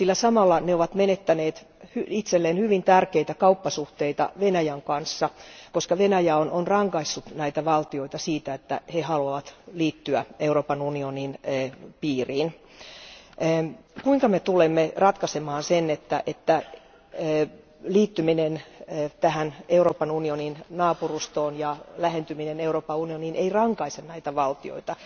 Samalla ne ovat menettäneet itselleen hyvin tärkeitä kauppasuhteita Venäjän kanssa, koska Venäjä on rankaissut näitä valtioita siitä, että ne haluavat liittyä Euroopan unionin piiriin. Kuinka me tulemme ratkaisemaan sen, että liittyminen Euroopan unionin naapurustoon ja lähentyminen Euroopan unioniin ei rankaise näitä valtioita?